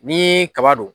Ni kaba don